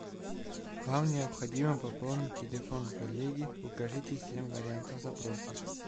вам необходимо пополнить телефон коллеги укажите семь вариантов запроса